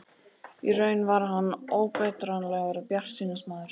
Í raun var hann óbetranlegur bjartsýnismaður.